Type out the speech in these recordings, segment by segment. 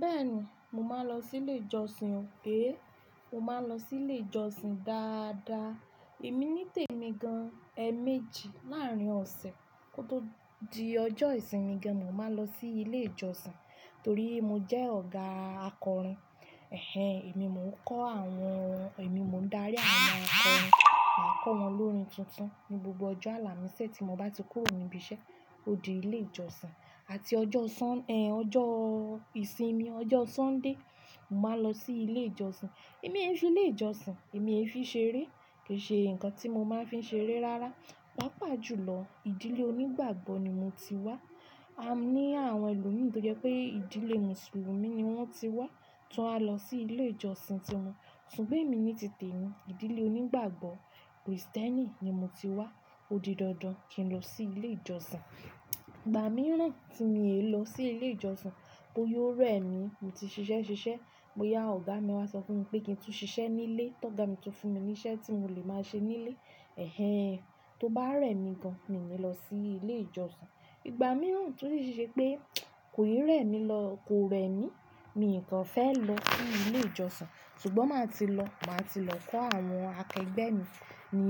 Bẹ́ẹ̀ni, mo máa ń lọ sí ilé ìjọsìn o. Mo máa ń lọ sí ilé ìjọsìn dáadáa. Èmi nítèmi gan-an ẹméjì láàrín ọ̀sẹ̀. Kó tó di ọjọ́ ìsinmi gan-an, mo máa ń lọ sí ilé ìjọsìn torí mo jẹ́ ọ̀gá akọrin. Èmi mò ń kọ́ àwọn-- èmi mò ń dárí àwọn akọrin. Màá kọ́ wọn lórin tuntun ní gbogbo ọjọ́ àlàmísi tí mo bá ti kúrò ní ibi iṣẹ́ odi ilé ìjọsìn àti ọjọ́ ìsinmi, ọjọ́ Sunday, màá lọ sí ilé ìjọsìn. Èmi e ṣùn ilé ìjọsìn. Èmi ẹ fi ṣeré. Kì í ṣe nǹkan tí mo máa ń fi ṣeré rárá. Pàápàá jùlọ, ìdílé onígbàgbọ́ ni mo ti wá. A ní àwọn ẹlòmíràn tó jẹ́ pé ìdílé mùsùlùmí ni wọ́n ti wá, tí wọn a lọ sí ilé ìjọsìn ti wọn. Ṣùgbọ́n èmi nítìtèmi, ìdílé onígbàgbọ́ Kristẹni ni mo ti wá. Ó di dandan kí n lọ sí ilé ìjọsìn. Ìgbà mìíràn tí mi e lọ sí ilé ìjọsìn, bóyá ó rẹ̀ mí, mo ti ṣiṣẹ́ ṣiṣẹ́, bóyá ọ̀gá mi wá sọ fún mi pé kí n tún ṣiṣẹ́ nílé, tọ́ọ̀gá mi tún fún mi ní iṣẹ́ tí mò lè máa ṣe nílé. Tóbá rẹ̀mí gan an, mi ni lọ sí ilé ìjọsìn. Ìgbà mìíràn tún ṣi ṣẹ́ pé kò rẹ̀ mí lọ-- kò rẹ̀ mí, mi kàn fẹ́ lọ sí ilé ìjọsìn. Ṣùgbọ́n má tí lọ, màá ti lọ kọ́ àwọn akẹgbẹ́ mi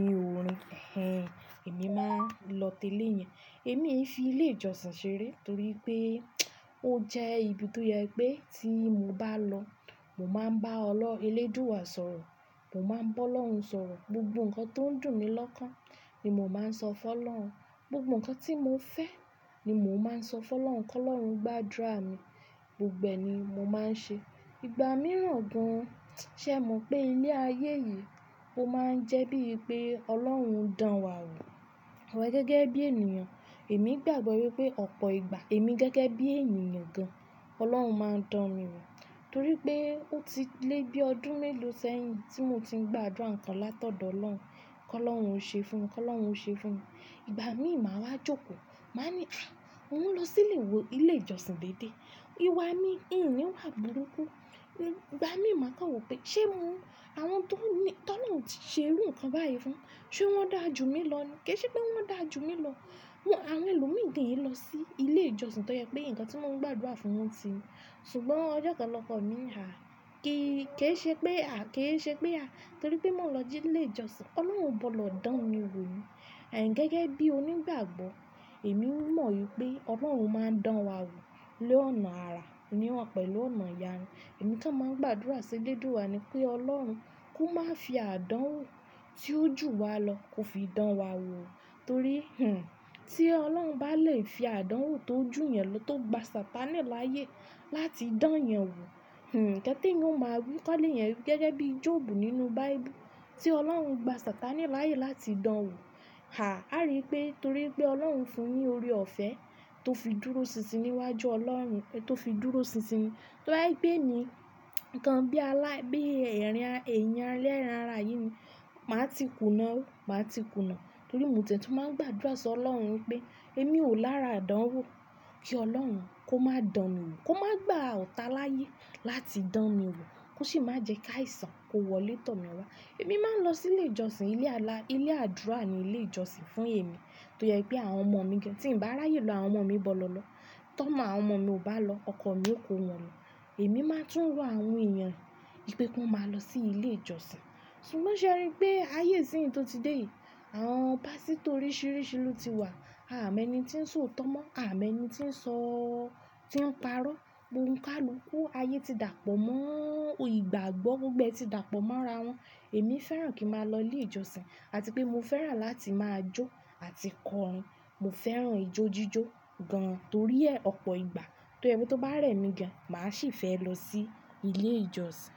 ní orin. Ẹ̀hẹn, èmi máa ń lọ tẹ́lé yẹn. Èmi e fi ilé ìjọsìn ṣeré torí pé ó jẹ́ ibi tó jẹ pé tí mo bá lọ, mo máa ń bá Ọlọ́run elédùùà sọ̀rọ̀. Mo máa ń bá Ọlọ́run sọ̀rọ̀. Gbogbo ǹkan tó ń dùn mí lọ́kàn ni mò ń máa sọ fún Ọlọ́run. Gbogbo ǹkan tí mo fẹ́ ni mò ń máa sọ fún Ọlọ́run kó lọ́run gbàdúrà mi. Gbogbo è ní mo máa ń ṣe. Ìgbà mìran gan an, ṣémo pé ilé ayé yì, ó má ń jẹ́ bí pé ọlọ́run dán wáwò. Àwa gẹ́gẹ́ bí ènìyàn. Èmi gbàgbọ́ wípé ọ̀pọ̀ ìgbà èmi gẹ́gẹ́ bí ènìyàn gan-an, Ọlọ́run máa ń dán mi wò torí pé ó ti lé bí ọdún mélòó sẹ́yìn tí mo ti ń gbàdúrà ń kan látọ̀dọ̀ Ọlọ́run kí Ọlọ́run ó ṣe fún mi, kí Ọlọ́run ó ṣe fún mi. Ìgbà mìíràn máa wá jókòó, màá ní, "A! Mò ń lọ sílé wo ilé ìjọsìn dédé?" Ìwà mi, hin ni wà burúkú. Ìgbà mì ma kàn wò pé ṣé mo-- àwọn tó ní-- tólorun ti ṣe irú ǹkan báyìí fún, ṣe wọ́n dà jú mi lọ ni? Kì í ṣe pé wọ́n dà jú mi lọ. Àwọn ẹlòmíràn gan e ọ sí ilé ìjọsìn tó jẹ́ pé ǹkan tí wọ́n ń gbàdúrà fún wọn ti rí. Ṣùgbọ́n ọjọ́ kan lọ́ko mi ní, "Hà, kí í ṣe pé à-- kí í ṣe pé à-- torí pé mò ń lọ jí ilé ìjọsìn, Ọlọ́run ò gbọ́dọ̀ dán mi wò ni?" Ẹ̀hẹn, gẹ́gẹ́ bí onígbàgbọ́, èmi mọ̀ wípé Ọlọ́run máa ń dán wa wò lọ́nà àrà, òmi wá pẹ̀lú ọ̀nà ìyanu. Èmi kan máa ń gbàdúrà sí elédùà ni pé Ọlọ́run kó máa fi àdánwò tí ó jù wa lọ kó fi dán wa wò, torí, tí Ọlọ́run bá lè fi àdánwò tó jù yan lọ tó gba sàtàní láyé láti dán yan wò, hmm, ǹkan te yan ó má wí kọ́ lé yan gẹ́gẹ́ bí Jọ̀ọ̀bù nínú Bíbúù tí Ọlọ́run gba sàtàní láyé láti dán wò. Hà, a rí i pé torí pé Ọlọ́run fún un ní oore-ọ̀fẹ́ tó fi dúró sinsin níwájú Ọlọ́run, tó fi dúró sinsin, tó bá jẹ́ pé èmi nǹkan bí alá-- bí ẹ̀eyan-- èèyàn elẹ́ ran ara yín ni, màá ti kùnà ó, màá ti kùnà torí mo tie tùn máa ń gbàdúrà sọ Ọlọ́run pé èmi ò lára àdánwò kí Ọlọ́run kó máa dán mi wò, kó máa gbá ọ̀tá láyé láti dán mi wò kó sì má jẹ́ kí àìsàn kó wọlé tọ̀ mi wá. Èmi máa ń lọ sí ilé ìjọsìn. Ilé alà-- ilé àdúrà ni ilé ìjọsìn fún èmi tó jẹ́ pé àwọn ọmọ mi gan. Tí ń bá ráyè lọ, àwọn ọmọ mi gbọ́dọ̀ lọ. Tọ́mọ àwọn ọmọ mi ò bá lọ, ọkọ mi ó kó wọn lọ. Èmi máa tún rọ àwọn èèyàn ipé kí wọ́n máa lọ sí ilé ìjọsìn. Ṣùgbọ́n ṣé ẹ rí i pé ayé ìsìn yì tó ti dé yìí, àwọn pásítọ̀ oríṣìíríṣìí ló ti wà. Àmọ́ ẹni tí ń sọ̀ tọ́mọ̀, àmọ́ ẹni tí ń sọ-- tí ń parọ́. Ọ̀nìkálùk, ayé ti dàpọ̀ mọ́ o ìgbàgbọ́, gbogbo è tí dàpọ̀ mọ́ ara wọn. Ẹni fẹ́ràn kí n má lọ ilé ìjọsìn, àti pé mo fẹ́ràn láti májó àti kọrin mo fẹ́ràn ijó jíjó gan an. Torí e ọ̀pọ̀ ìgbà tó jẹ́ pé tó bá rẹ̀mí gan, má sì fẹ́ lọ sí ilé ìjọsìn.